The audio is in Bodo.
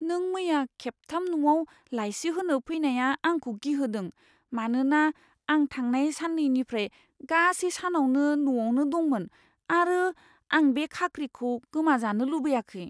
नों मैया खेबथाम न'आव लाइसि होनो फैनाया आंखौ गिहोदों, मानोना आं थांनाय साननैनिफ्राय गासै सानावनो न'आवनो दंमोन आरो आं बे खाख्रिखौ गोमाजानो लुबैयाखै।